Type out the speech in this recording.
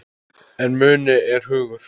En muni er hugur.